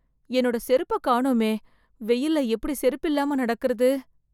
என்னோட செருப்ப காணோமே.. வெயில்ல எப்படி செருப்பில்லாம நடக்கறது....